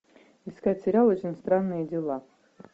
искать сериал очень странные дела